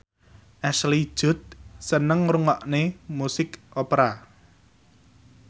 Ashley Judd seneng ngrungokne musik opera